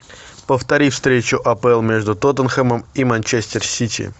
повтори встречу апл между тоттенхэмом и манчестер сити